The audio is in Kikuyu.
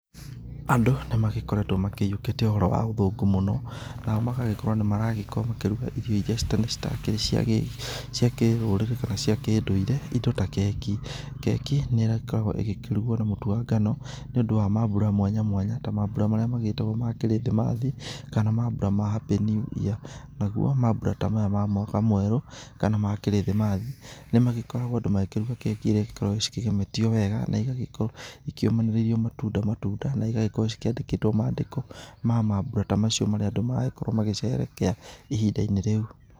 Andũ, nĩmagĩkoretũo makĩhiũkĩtie ũhoro wa ũthũngũ mũno, nao magagĩkorũo nĩmaragĩkorũo makĩruga irio iria citakĩrĩ cia gĩ, cia kĩrũrĩrĩ kana cia kĩũndũire, indo ta keki, keki, nĩkoragũo ĩgĩkĩruguo na mũtu wa ngano, nĩũndũ wa mambura mwanya mwanya, ta mambura marĩa magĩtagũo ma krithimathi, kana mambura ma happy new year. Naguo, mambura ta maya ma mwaka mwerũ, kana ma krithimathi, nĩmagĩkoragũo andũ magĩkĩruga keki iria cikoragũo cikĩgemetio wega, na igagĩkorũo ikiumanĩrĩirio matunda matunda na igagĩkorũo cikĩandĩkĩtũo mandĩko, ma mambura ta macio marĩa andũ marakoruo magĩ sherekea, ihindainĩ rĩu.